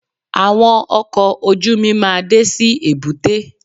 Àwọn ọkọ̀ ojú-mi máa dé sí èbúté